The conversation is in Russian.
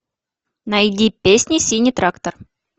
найди песни синий трактор